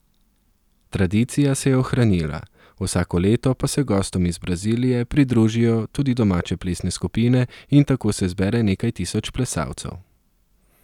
Tradicija se je ohranila, vsako leto pa se gostom iz Brazilije pridružijo tudi domače plesne skupine in tako se zbere nekaj tisoč plesalcev.